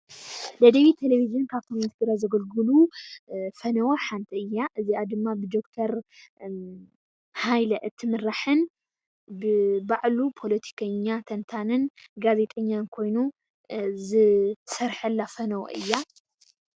ደደቢት ቴሌቨዥን ካብቶም ንህዝቢ ትግራይ ዘገልግሉ ፈነወ ሓንቲ እያ። እዚኣ ድማ ብደኩተር ሃይለ እትምራሕን ባዕሉ ፖሎቲከኛ ተንታንን ጋዘጤኛን ኾይኑ ዝሰርሐላ ፈነወ እያ።